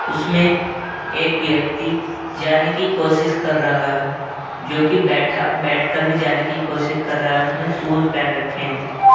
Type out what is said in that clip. उसमें एक व्यक्ति जाने की कोशिश कर रहा है जो कि बैठा बैठकर भी जाने की कोशिश कर रहा है उसने शूज पहन रक्खें हैं ।